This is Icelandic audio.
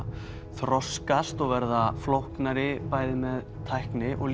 þroskast verða flóknari með tækni og